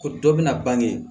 Ko dɔ bɛna bange